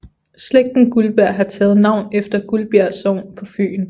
Slægten Guldberg har taget navn efter Guldbjerg Sogn på Fyn